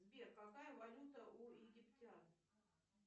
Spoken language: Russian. сбер какая валюта у египтян